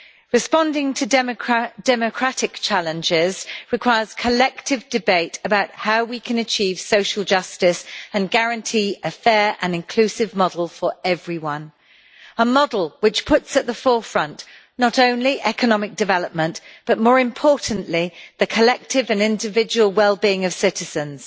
Responding to democratic challenges requires collective debate about how we can achieve social justice and guarantee a fair and inclusive model for everyone a model which puts at the forefront not only economic development but, more importantly, the collective and individual well being of citizens.